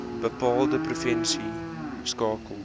bepaalde provinsie skakel